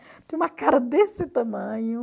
Tinha uma cara desse tamanho.